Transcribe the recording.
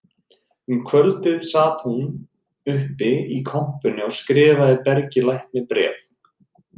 Um kvöldið sat hún uppi í kompunni og skrifaði Bergi lækni bréf